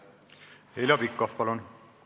Heljo Pikhof, palun!